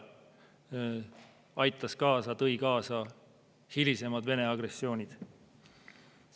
See tõi kaasa hilisemad Vene agressioonid.